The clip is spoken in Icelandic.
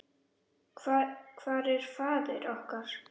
Hvar er faðir okkar?